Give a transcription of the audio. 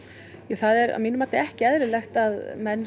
það er að mínu mati ekki eðlilegt að menn